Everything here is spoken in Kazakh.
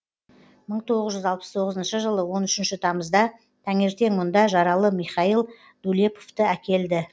мың тоғыз жүз алпыс тоғызыншы жылы он үшінші тамызда таңертең мұнда жаралы михаил дулеповті әкелді